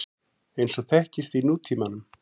eins og þekkist í nútímanum.